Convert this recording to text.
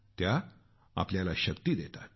त्या आम्हाला खूप शक्ती देतात